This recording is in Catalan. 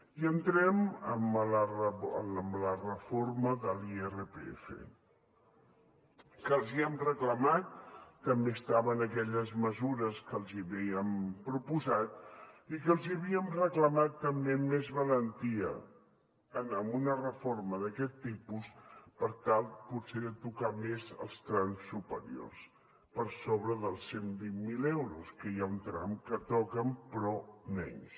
i entrem en la reforma de l’irpf que els hem reclamat també estava en aquelles mesures que els havíem proposat i que els havíem reclamat també més valentia amb una reforma d’aquest tipus per tal potser de tocar més els trams superiors per sobre dels cent i vint miler euros que hi ha un tram que toquen però menys